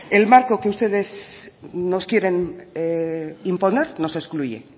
el marco que ustedes nos quieren imponer nos excluye